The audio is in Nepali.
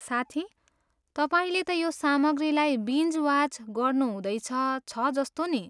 साथी, तपाईँले त यो सामग्रीलाई बिन्ज वाच गर्नुहुँदैछ छ जस्तो नि।